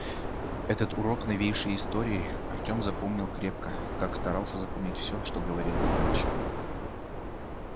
этот урок новейшей истории артём запомнил крепко как старался запоминать всё что ему говорил отчим